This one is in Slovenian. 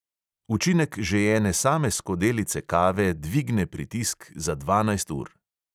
Učinek že ene same skodelice kave dvigne pritisk za dvanajst ur.